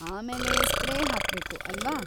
ಆಮೇಲೆ ಸ್ಪ್ರೇ ಹಾಕ್ಬೇಕು, ಅಲ್ವಾ?